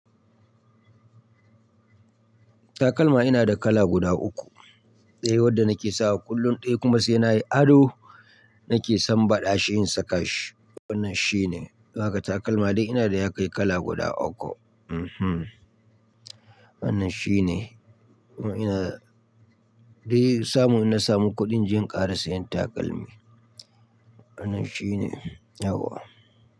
Takalma ina da kala guda uku, ɗaya wanda nake sawa kullum, ɗaya kuma sai nayi ado nake sambaɗa shi in saka shi. Wannan shine, haka takalma dai ina da ya kai kala guda uku. Hmmm! Wannan shine, ina dai samun, ina samun kuɗin jinƙara sai in yi takalmi. Wannan shine, yawwa.